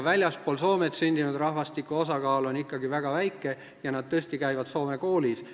Väljaspool Soomet sündinud rahvastiku osakaal on seal riigis ikkagi väga väike ja nad tõesti käivad soome koolis.